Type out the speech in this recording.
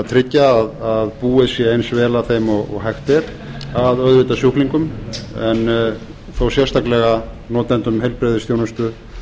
tryggja að búið sé eins vel að þeim og hægt er af auðvitað sjúklingum en þó sérstaklega notendum heilbrigðisþjónustu